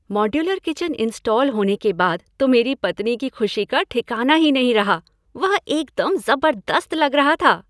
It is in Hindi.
मॉड्यूलर किचन इंस्टॉल होने के बाद तो मेरी पत्नी की खुशी का ठिकाना ही नहीं रहा। वह एकदम ज़बरदस्त लग रहा था!